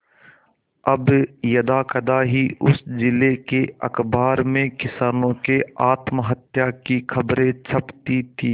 अब यदाकदा ही उस जिले के अखबार में किसानों के आत्महत्या की खबरें छपती थी